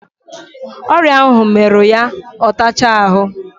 Oria ahu mmeru ya otacha ahu